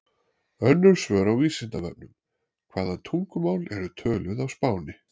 Önnur svör á Vísindavefnum: Hvaða tungumál eru töluð á Spáni?